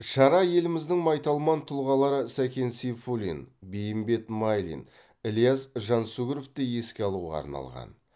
шара еліміздің майталман тұлғалары сәкен сейфуллин бейімбет майлин ільяс жансүгіровті еске алуға арналған